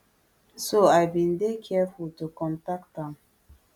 so i bin dey careful to contact am